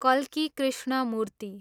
कल्की कृष्णमूर्ति